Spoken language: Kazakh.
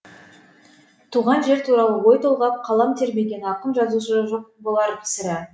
туған жер туралы ой толғап қалам тербемеген ақын жазушы жоқ болар сірә